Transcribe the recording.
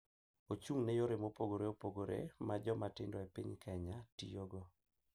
Ochung’ ne yore mopogore opogore ma joma tindo e piny Kenya tiyogo .